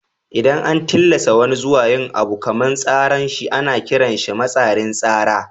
Idan an tillasa wani zuwa yin abu kaman tsaran shi ana kiran shi matsatsin tsara.